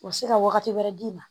U bɛ se ka wagati wɛrɛ d'i ma